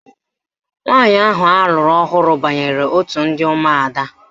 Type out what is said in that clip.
Nwaanyị ahụ alụrụ ọhụrụ banyere otu ndị ụmụada